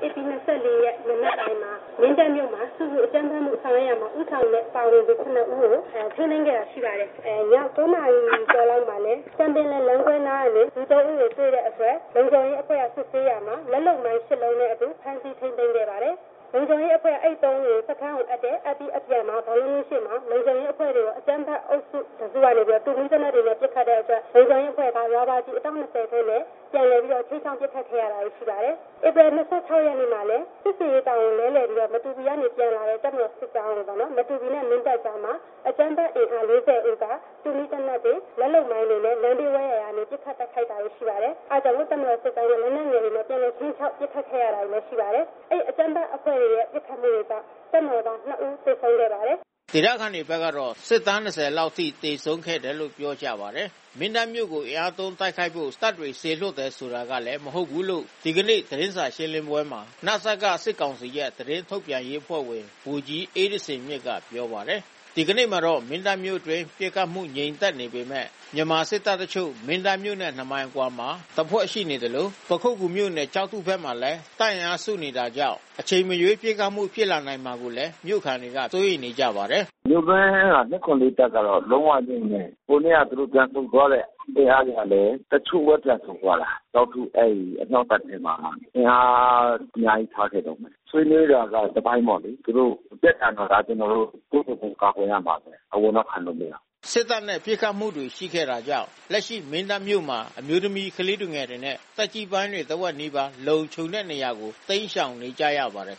ဖြစ်စဉ်က ဧပြီ ၂၄ ရက် မနက်ပိုင်းမှာ မင်းတပ်မှာ ဆူပူ အကြမ်းဖက်မှု ဆောင်ရွက်ရာမှာ ဦးဆောင်တဲ့ ပါဝင်သူ ၇ ဦးကို ထိန်းသိမ်းခဲ့တာရှိပါတယ်။ ည ၉ နာရီကျော်လောက်မှာလည်း ကန်ပင်လယ်လမ်းကြောင်းနားကနေ လူ ၃ ဦး ကို တွေ့တဲ့အတွက် လုံခြုံရေးအတွက် စစ်ဆေးရာမှာ လက်လုပ်မိုင်း ၈ လုံးနဲ့ အတူ ဖမ်းဆီးထိန်းသိမ်းခဲ့ပါတယ်။ လုံခြုံရေးအဖွဲ့က အဲဒီ ၃ ဦးကို စခန်းကို အပ်တယ်။ အပ်ပြီး အပြန်မှာ ဘောလုံးကွင်းရှေ့မှာ လုံခြုံရေးအဖွဲ့ကို အကြမ်းဖက်အုပ်စု တစုကနေပြီးတော့ တူမီး သေနတ်တွေနဲ့ ပစ်ခတ်တဲ့အတွက် လုံခြုံရေးအဖွဲ့တွေက ရာဘာကျည် အတောင့် ၂၀ နဲ့ ပြန်လည်ပြီးတော့ ခြိမ်းခြောက် ပစ်ခတ်ခဲ့ရတာတွေ ရှိပါတယ်။ ဧပြီ ၂၆ ရက်နေ့မှာလည်း စစ်ဆင်ရေး တာဝန်လဲလည်ပြီးတော့ မတူပီကနေ ပြန်လာတဲ့ တပ်မတော်စစ်ကြောင်းကို မတူပီနဲ့ မင်းတပ်ကြားမှာ အကြမ်းဖက် အင်အား ၄၀ ဦးက တူမီးသေနတ်တွေ၊ လက်လုပ်မိုင်းတွေနဲ့ လမ်းဘေးဝဲယာကနေ ပစ်ခတ် တိုက်ခိုက်တာတွေရှိပါတယ်။ အဲဒါကြောင့် တပ်မတော်စစ်သားတွေက လက်နက်ငယ်တွေနဲ့ ပြန်လည် ခြိမ်းခြောက်ပြီးတော့ ပစ်ခတ်ခဲ့ရတာတွေလည်းရှိပါတယ်။ အကြမ်းဖက်အဖွဲ့တွေရဲ့ ပစ်ခတ်မှုတွေကြောင့် တပ်မတော်သား ၂ ဦး သေဆုံးခဲ့ပါတယ်။" ဒေသခံတွေဘက်ကတော့ စစ်သား ၂၀ လောက်အထိ သေဆုံးခဲ့တယ်လို့ ပြောကြပါတယ်။ မင်းတပ်မြို့ကို အင်အားသုံးတိုက်ဖို့ တပ်တွေ စေလွှတ်တယ်ဆိုတာလည်း မဟုတ်ဘူးလို့ ဒီနေ့ သတင်းစာရှင်းပွဲမှာ န.စ.က စစ်ကောင်စီရဲ့ သတင်းထုတ်ပြန်ရေးအဖွဲ့ဝင် ဗိုလ်ကြီးအေးသဇင်မြင့်က ပြောပါတယ်။ ဒီနေ့မှာတော့ မင်းတပ်မြို့အတွင်း ပစ်ခတ်မှုငြိမ်သက်နေပေမဲ့ မြန်မာစစ်တပ်တချို့ မင်းတပ်မြို့နဲ့ ၂ မိုင်အကွာမှာ တပ်ဖွဲ့တခု တပ်စွဲထားသလို ပခုက္ကူမြို့နယ်၊ ကျောက်ထုဘက်မှာလဲ တပ်အင်အားစုနေတာကြောင့် အချိန်မရွေး ပစ်ခတ်မှုဖြစ်လာမှာကို မြို့ခံတွေ စိုးရိမ်နေကြပါတယ်။ "မင်းတပ်က ၂၇၄ တပ်ကတော့ လုံးဝငြိမ်နေတယ်။ ဟိုနေ့က သူတို့ ပြန်ဆုတ်သွားတဲ့ အင်အားတွေကလည်း တချို့ပဲ ပြန်ဆုတ်သွားတာ။ ကျောက်ထု အဲဒီအမြောက်တပ်ထဲမှာ အင်အားအများကြီးထားခဲ့တုန်းပဲ။ ဆွေးနွေးတာက တပိုင်းပေါ့လေ။ သူတို့တက်လာမှာလား၊ ကျနော်တို့ ကိုယ့်ကိုယ်ကို ကာကွယ်ရမှာပဲ။ အဝင်တော့ ခံလို့မရဘူး။" စစ်တပ်နဲ့ ပစ်ခတ်မှုတွေ ရှိခဲ့တာကြောင့် လက်ရှိ မင်းတပ်မြို့မှာ အမျိုးသမီး ကလေးသူငယ်တွေနဲ့ သက်ကြီးပိုင်းတွေ တဝက်နီးပါး လုံခြုံတဲ့နေရာကို တိမ်းရှောင်နေကြပါတယ်